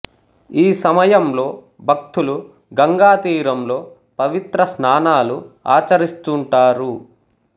ఈ సమయంలో భక్తులు గంగా తీరంలో పవిత్ర స్నానాలు ఆచరిస్తుంటారు